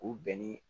K'u bɛn ni